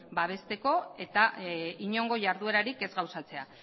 babesteko eta inongo jarduerarik ez gauzatzea